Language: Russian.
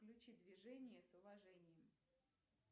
включи движение с уважением